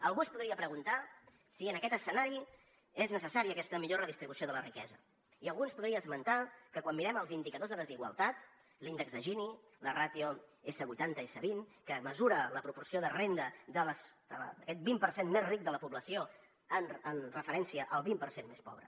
algú es podria preguntar si en aquest escenari és necessària aquesta millor redistribució de la riquesa i algú ens podria esmentar que quan mirem els indicadors de desigualtat l’índex de gini la ràtio s80 s20 que mesura la proporció de renda d’aquest vint per cent més ric de la població en referència al vint per cent més pobre